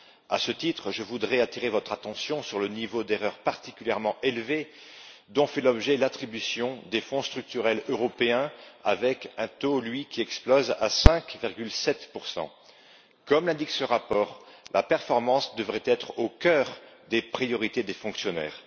À ce titre, je voudrais attirer votre attention sur le niveau d'erreur particulièrement élevé dont fait l'objet l'attribution des fonds structurels européens, avec un taux qui explose à 5,7 Comme l'indique ce rapport, la performance devrait être au cœur des priorités des fonctionnaires.